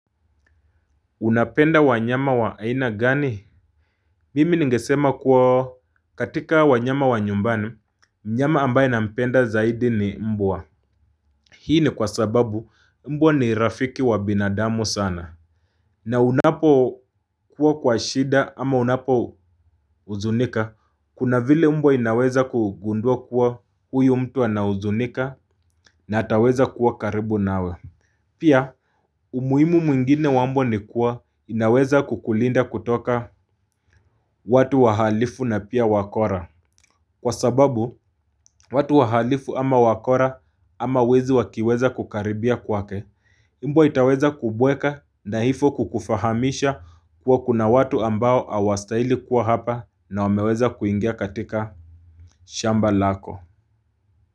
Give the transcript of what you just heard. Unapenda wanyama wa aina gani? Mimi ngesema kuwa katika wanyama wa nyumbani Mnyama ambaye na mpenda zaidi ni mbwa. Hii ni kwa sababu mbwa ni rafiki wa binadamu sana. Na unapo kuwa kwa shida ama unapo huzunika. Kuna vile mbwa inaweza kugundua kuwa huyu mtu anahuzunika. Na ataweza kuwa karibu na we. Pia umuhimu mwingine wa mbwa ni kuwa inaweza kukulinda kutoka watu wahalifu na pia wakora. Kwa sababu, watu wahalifu ama wakora ama wezi wakiweza kukaribia kwake mbwa itaweza kubweka na hivyo kukufahamisha kuwa kuna watu ambao hawastahili kuwa hapa na wameweza kuingia katika shamba lako.